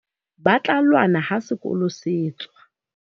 Ba tla lwana ha sekolo se tswa.